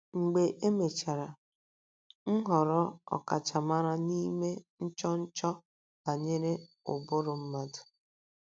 Mgbe e mechara, m ghọrọ ọkachamara n’ime nchọnchọ banyere ụbụrụ mmadụ.